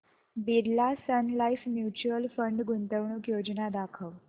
Birla Sun Life mutual fund गुंतवणूक योजना दाखव